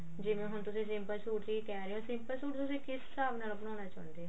ਜਿਵੇਂ ਹੁਣ ਤੁਸੀਂ simple ਸੂਟ ਲਈ ਕਿਹ ਰਹੇ ਓ simple ਸੂਟ ਤੁਸੀਂ ਕਿਸ ਹਿਸਾਬ ਨਾਲ ਬਣਾਉਣਾ ਚਾਹੁੰਦੇ ਓ